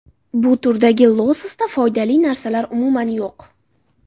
Bu turdagi lososda foydali narsalar umuman yo‘q.